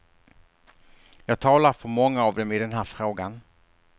Jag talar för många av dem i den här frågan.